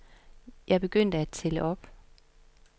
Jeg begyndte at tælle op.